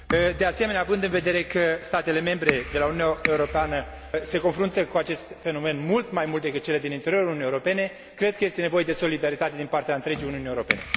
De asemenea, având în vedere că statele membre de la granița Uniunii Europene se confruntă cu acest fenomen mult mai mult decât cele din interiorul Uniunii Europene, cred că este nevoie de solidaritate din partea întregii Uniunii Europene.